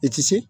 I ti se